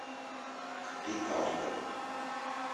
петарды